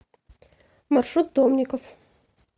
маршрут домников